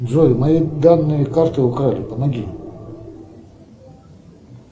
джой мои данные карты украли помоги